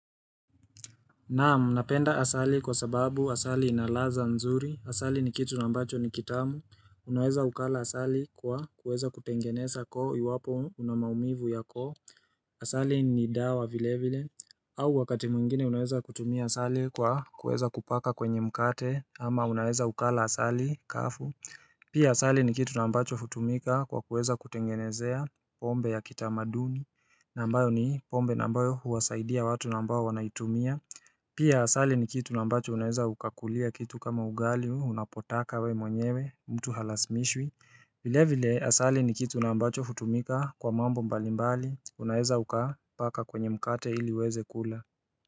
Naam, napenda asali kwa sababu asali inalaza nzuri. Asali ni kitu na ambacho ni kitamu. Unaweza ukala asali kwa kuweza kutengeneza koo iwapo unamaumivu ya koo. Asali ni dawa vile vile. Au wakati mwingine unaweza kutumia asali kwa kuweza kupaka kwenye mkate ama unaweza ukala asali kafu. Pia asali ni kitu na ambacho hutumika kwa kuweza kutengenezea pombe ya kitamaduni na ambayo ni pombe na ambayo huwasaidia watu na ambao wanaitumia Pia asali ni kitu na ambacho unaeza ukakulia kitu kama ugali unapotaka we mwenyewe mtu halasmishwi vile vile asali ni kitu na ambacho hutumika kwa mambo mbalimbali unaeza ukapaka kwenye mkate ili uweze kula.